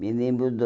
Me lembro do...